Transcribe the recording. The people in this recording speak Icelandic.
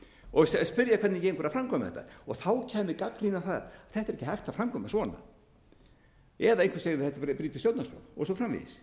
og spyrja hvernig gengur að framkvæma þetta þá kæmi gagnrýni á það þetta er ekki hægt að framkvæma svona eða einhver segir þetta brýtur stjórnarskrá og svo framvegis